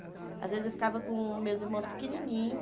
Às vezes eu ficava com meus irmãos pequenininhos.